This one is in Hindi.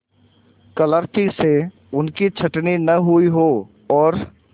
क्लर्की से उनकी छँटनी न हुई हो और